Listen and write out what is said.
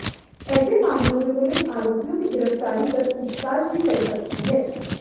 ऐसे मामलों में पुलिस आरोपियों की गिरफ्तारी कर पूछताछ भी कर सकती है